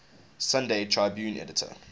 sunday tribune editor